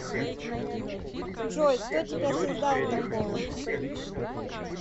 джой кто тебя создал такого